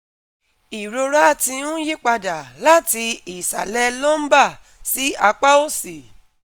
Irora ti n yipada lati isalẹ lumbar si apa osi